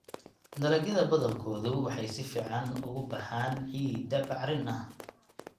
Dalagyada badankoodu waxay si fiican uga baxaan ciidda bacrin ah.